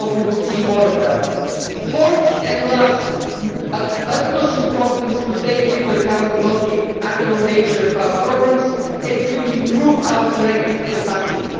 We hope we will see more of them. Fourth and last, it is of utmost importance to take into account the multiannual nature of our problems and to improve our corrective capacity.